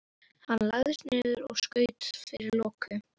Hann lagðist niður og skaut fyrir loku.